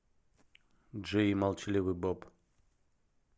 джей и молчаливый боб